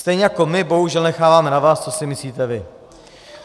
Stejně jako my bohužel necháváme na vás, co si myslíte vy.